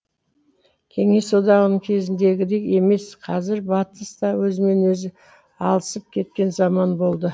кеңес одағының кезіндегідей емес қазір батыс та өзімен өзі алысып кеткен заман болды